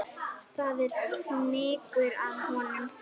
Það er fnykur af honum.